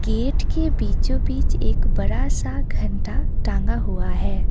Gate के बीचो बीच एक बड़ा सा घंटा टांगा हुआ है।